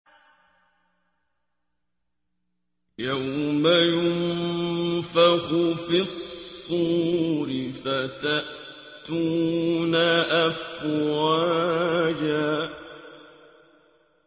يَوْمَ يُنفَخُ فِي الصُّورِ فَتَأْتُونَ أَفْوَاجًا